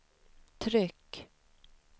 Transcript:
tryck